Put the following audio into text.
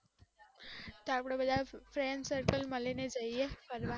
તો અપડે બધા friend circle મળીને જઇએ ફરવા